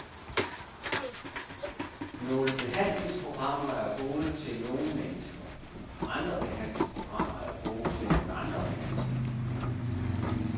Nogle behandlingsprogrammer er gode til nogle mennesker, andre behandlingsprogrammer er gode til nogle andre mennesker.